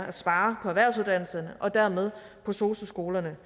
at spare på erhvervsuddannelserne og dermed på sosu skolerne